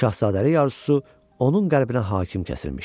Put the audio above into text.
Şahzadəlik arzusu onun qəlbinə hakim kəsilmişdi.